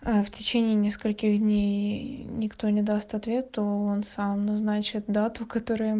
в течение нескольких дней никто не даст ответ то он сам назначит дату которая